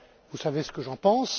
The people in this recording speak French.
vous savez ce que j'en pense.